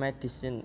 médecine